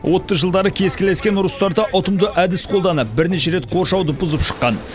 отты жылдары кескілескен ұрыстарда ұтымды әдіс қолданып бірнеше рет қоршауды бұзып шыққан